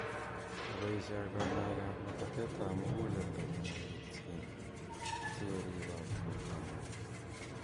Oboishe ak kanyoik ap labateet ap muguleldo konegitchiin sogoribok bortang'ung.